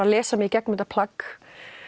að lesa mig í gegnum þetta plagg